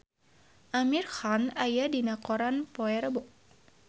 Amir Khan aya dina koran poe Rebo